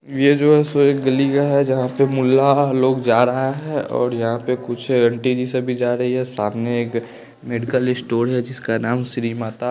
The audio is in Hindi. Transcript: यह जो है सो एक गली गया है जहाँ पे मुल्ला लोग जा रहा है और यहाँ पे कुछ आंटी जी से भी जा रही है सामने एक मेडिकल स्टोर है जिसका नाम श्रीमाता --